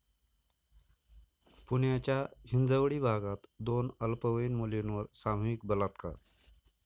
पुण्याच्या हिंजवडी भागात दोन अल्पवयीन मुलींवर सामूहिक बलात्कार